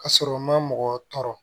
Ka sɔrɔ u ma mɔgɔ tɔɔrɔ